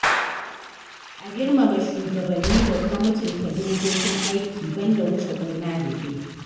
A Girmama shugabanni da kuma mutunta dokokin aiki ban da wuce gona da iri.